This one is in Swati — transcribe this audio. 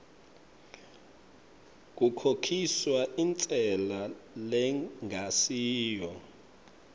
kukhokhiswa intsela lengasiyo